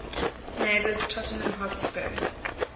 neighbours tottenham hotspur